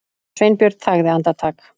Sveinbjörn þagði andartak.